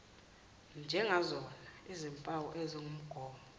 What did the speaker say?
njengazona zimpawu ezingumongo